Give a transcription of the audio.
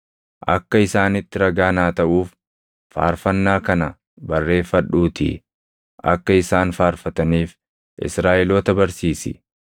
“Akka isaanitti ragaa naa taʼuuf, faarfannaa kana barreeffadhuutii akka isaan faarfataniif Israaʼeloota barsiisi.